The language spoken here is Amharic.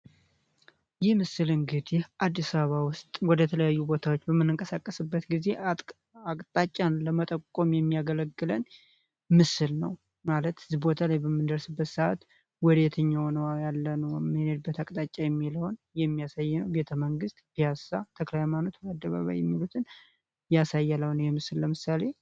ይህ ምስል እንግዲህ አዲስ አበባ ውስጥ ወደ ተለያዩ ቦታዎች በምንቀሳቀስበት ጊዜ አቅጣጫን ለመጠቆም የሚያገለግለን ምስል ነው። ማለት እዚህ ቦታ በምንደርስበት ሰአት ወደ የትኛው ቦታ ነው የምንሄደው የሚለውን የሚያሳየን ነው። ማለትም ቤተመንግስት፣ ፒያሳ፣ ተክለሀይማኖት የሚሉትን ያሳያል ይህ ምስል አሁን ለምሳሌ።